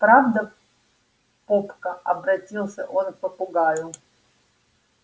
правда попка обратился он к попугаю